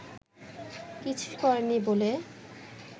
কিছুই করেননি বলে